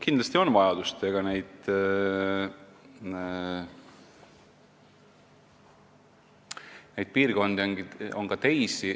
Kindlasti vajadust on ja neid piirkondi on ka teisi.